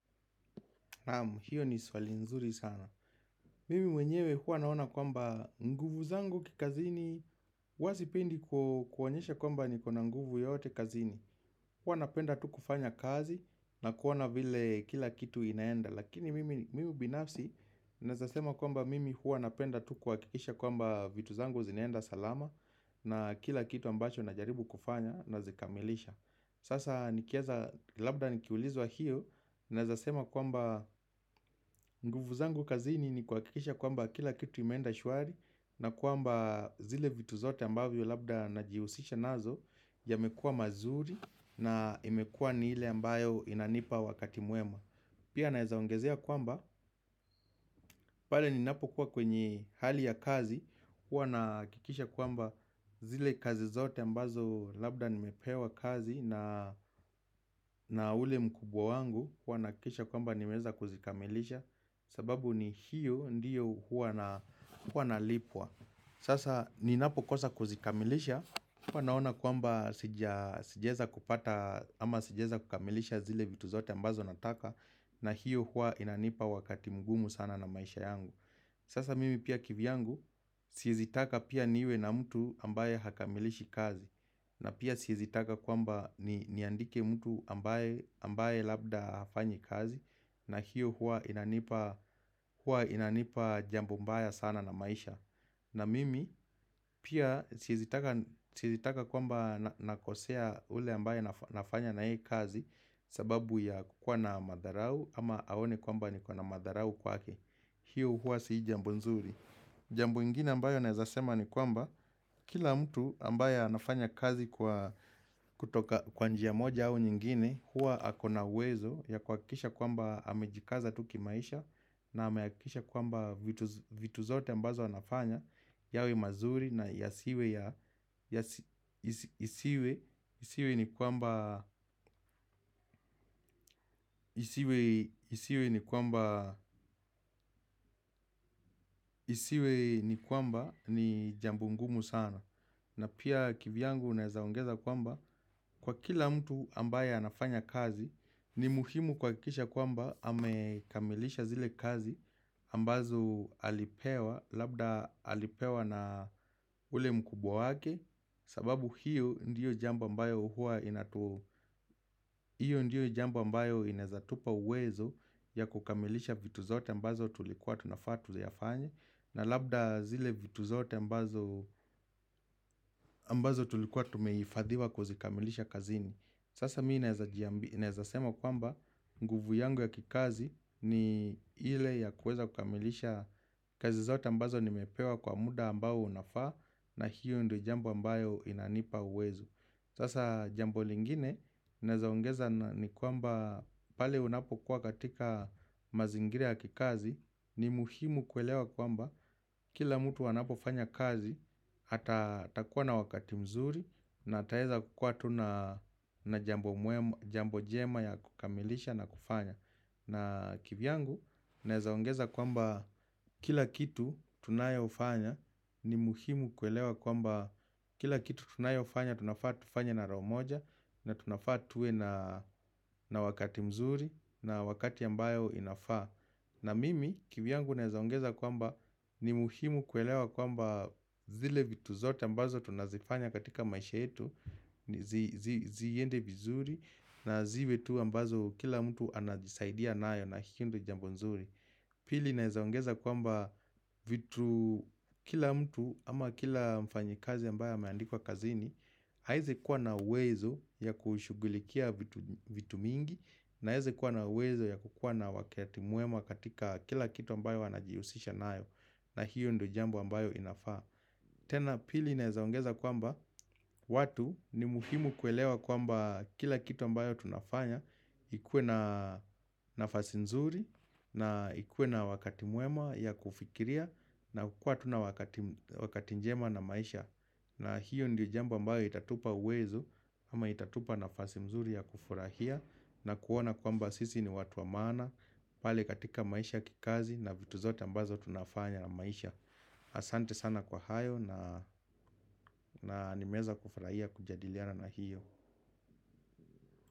Naam, hiyo ni swali nzuri sana hhh Mimi mwenyewe hua naona kwamba nguvu zangu kikazini Hua sipendi ku kuonyesha kwamba nikona nguvu yote kazini. Huwa napenda tu kufanya kazi na koana vile kila kitu inaenda Lakini mimi binafsi naeza sema kwamba mimi hua napenda tu kuwakikisha kwamba vitu zangu zinaenda salama na kila kitu ambacho na jaribu kufanya na zikamilisha Sasa nikieza labda nikiulizwa hiyo, naezasema kwamba nguvu zangu kazini ni kwakikisha kwamba kila kitu imenda shuari, na kwamba zile vitu zote ambavyo labda najiusisha nazo yamekua mazuri na imekua ni ile ambayo inanipa wakati mwema. Pia naezaongezea kwamba, pale ninapo kuwa kwenye hali ya kazi, hua nakikisha kwamba zile kazi zote ambazo labda nimepewa kazi na ule mkubwa wangu, hua nakikisha kwamba nimeza kuzikamilisha, sababu ni hiyo ndiyo hua nalipwa. Sasa ni napokosa kuzikamilisha Hapa naona kwamba sija sijeza kupata ama sijeza kukamilisha zile vitu zote ambazo nataka na hiyo hua inanipa wakati mgumu sana na maisha yangu hhhh Sasa mimi pia kivyangu siezitaka pia niwe na mtu ambaye hakamilishi kazi na pia siizitaka kwamba niandike mtu ambaye labda hafanyi kazi na hiyo hua hua inanipa inanipa jambo mbaya sana na maisha. Na mimi, pia siezitaka siezitaka kwamba na nakosea ule ambaye nafanya na yeye kazi ss sababu ya kukua na madharau ama aone kwamba niko na madharau kwake Hio hua si jambu nzuri. Jambo ingine ambayo naezasema ni kwamba hhh Kila mtu ambaye anafanya kazi kwa kutoka kwa njia ya moja au nyingine Hua akona uwezo ya kwakisha kwamba amejikaza tu kimaisha na ameakikisha kwamba vitu vitu zote ambazo anafanya yawe mazuri na yasiwe ya yasi isi isiwe isiwe ni kwamba. Ni kwamba ni jambo ngumu sana na pia kivyangu naeza ongeza kwamba kwa kila mtu ambaye anafanya kazi, ni muhimu kwa kisha kwamba amekamilisha zile kazi ambazo alipewa labda alipewa na ule mkubwa wake sababu hiyo ndio jambo ambayo inatu ndiyo jamba mbayo inaezatupa uwezo ya kukamilisha vitu zote ambazo tulikuwa tunafaa tuyafanye na labda zile vitu zote ambazo tulikuwa tumeifadhiwa ku zikamilisha kazini Sasa mii naeza jiamb naezasema kwamba nguvu yangu ya kikazi ni ile ya kweza kukamilisha kazi zote ambazo nimepewa kwa muda ambao unafaa na hiyo ndio jamba ambayo inanipa uwezo. Sasa jambo lingine naezaongeza ni kwamba pale unapo kuwa katika mazingiri ya kikazi ni muhimu kuelewa kwamba kila mtu anapo fanya kazi hata atakua na wakati mzuri na ataeza kua tu na na jambo mwema njambo njema ya kukamilisha na kufanya. Na kivyangu, naezaongeza kwamba kila kitu tunayo fanya ni muhimu kuelewa kwamba kila kitu tunayo fanya tunafaa tufanye na roo moja na tunafaa tuwe na wakati mzuri na wakati ambayo inafaa. Na mimi kivyangu naezaongeza kwamba ni muhimu kuelewa kwamba zile vitu zote ambazo tunazifanya katika maisha yetu ni zi zi Ziende vizuri na ziwe tu ambazo kila mtu anajisaidia nayo na hio ndio jambo nzuri. Pili naezaongeza kwamba vitu kila mtu ama kila mfanyikazi ambaye ameandikwa kazini, Haeze kuwa na uwezo ya kushugulikia vitu vitu mingi Naeze kuwa na uwezo ya kukua na wakati muema katika kila kitu ambayo anajiusisha naayo. Na hiyo ndio jambo ambayo inafaa. Tena pili naezaongeza kwamba watu ni muhimu kuelewa kwamba kila kitu ambayo tunafanya ikue na nafasi nzuri na ikue na wakati mwema ya kufikiria. Na kukua tu na wakati wakati njema na maisha. Na hiyo ndio jamba mbayo itatupa uwezo ama itatupa nafasi mzuri ya kufurahia na kuona kwa mba sisi ni watu wa maana pale katika maisha kikazi na vitu zote ambazo tunafanya na maisha. Asante sana kwa hayo naa na nimeza kufurahia kujadiliana na hiyo.